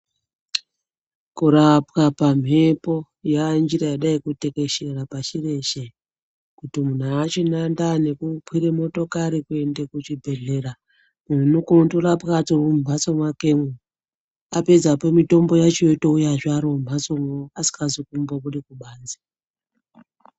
Kurapwa pamhepo yanjira yadai kutekeshera pashi reshe kuti munhu achinandaa nekukwire motokari kuende kuchibhehlera, muntu unokone kurapwa ari mumhatso mwakemwo apedzepo mitombo yacho yotouya zve arimumhatsomwo asikazi kumbobude kubanzi.